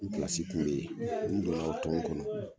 N pilasi kun be ye n donna o ton kɔnɔ